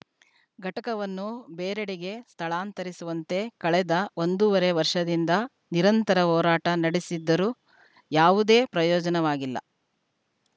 ಘಟಕವನ್ನು ಬೇರೆಡೆಗೆ ಸ್ಥಳಾಂತರಿಸುವಂತೆ ಕಳೆದ ಒಂದೂವರೆ ವರ್ಷದಿಂದ ನಿರಂತರ ಹೋರಾಟ ನಡೆಸಿದ್ದರೂ ಯಾವುದೇ ಪ್ರಯೋಜವಾಗಿಲ್ಲ